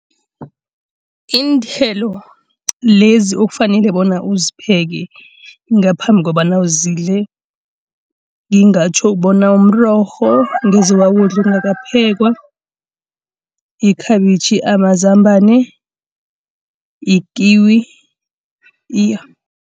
Iinthelo lezi okufanele bona uzipheke ngaphambi kobana uzidle. Ngingatjho bona umrorho angeze wawudla ungakaphekwa, ikhabitjhi, amazambana, i-kiwi iya.